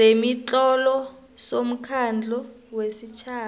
sezemitlolo somkhandlu wesitjhaba